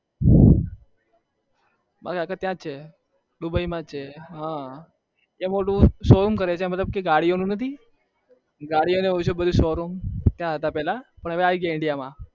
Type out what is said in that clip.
Dubai માં જ છે ગાડી નો શો રૂમ કરે છે ત્યાં હતા પેલા પણ હવે આવી ગયા Indian માં